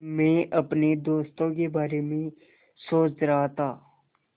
मैं अपने दोस्तों के बारे में सोच रहा था